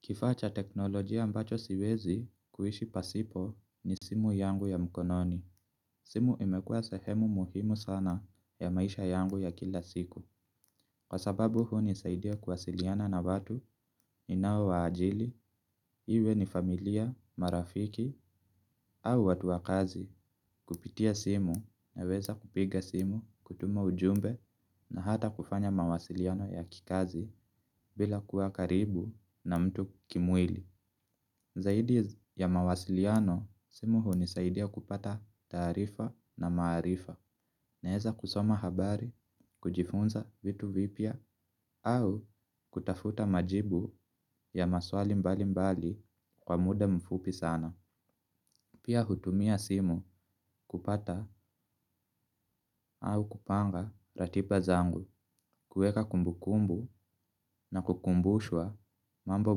Kifaa cha teknolojia ambacho siwezi kuishi pasipo ni simu yangu ya mkononi. Simu imekua sahemu muhimu sana ya maisha yangu ya kila siku. Kwa sababu hunisaidia kuwasiliana na vatu ninao waajili, iwe ni familia, marafiki au watu wa kazi, kupitia simu naweza kupiga simu, kutuma ujumbe na hata kufanya mawasiliano ya kikazi bila kuwa karibu na mtu kimwili. Zaidi ya mawasiliano simu unisaidia kupata taarifa na maarifa. Naeza kusoma habari, kujifunza vitu vipya au kutafuta majibu ya maswali mbali mbali kwa muda mfupi sana. Pia utumia simu kupata au kupanga ratiba zangu. Kueka kumbukumbu na kukumbushwa mambo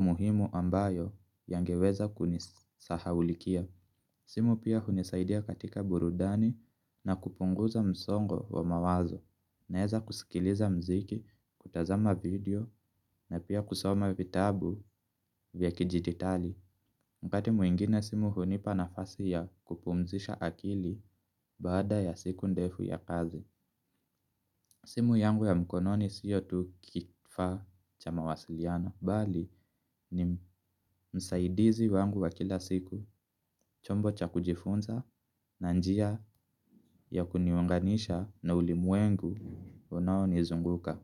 muhimu ambayo yangeweza kunisahaulikia simu pia unisaidia katika burudani na kupunguza msongo wa mawazo. Naeza kuskiliza mziki kutazama video na pia kusoma vitabu vya kidigitali wakati mwingine simu hunipa nafasi ya kupumzisha akili baada ya siku ndefu ya kazi. Simu yangu ya mkononi sio tu kifaa cha mawasiliano bali ni msaidizi wangu wa kila siku. Chombo cha kujifunza na njia ya kuniunganisha na ulimwengu unao nizunguka.